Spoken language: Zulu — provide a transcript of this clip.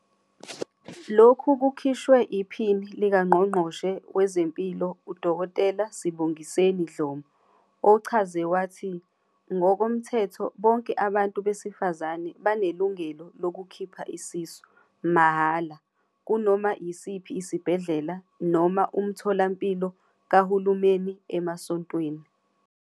Lokhu kushiwo iPhini likaNgqongqoshe Wezempilo uDkt Sibongiseni Dhlomo, ochaze wathi, ngokomthetho bonke abantu besifazane banelungelo lokukhipha isisu, mahhala, kunoma yisiphi isibhedlela noma umtholampilo kahulumeni emasontweni.